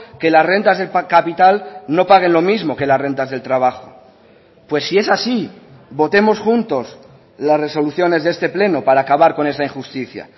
que las rentas de capital no paguen lo mismo que las rentas del trabajo pues si es así votemos juntos las resoluciones de este pleno para acabar con esa injusticia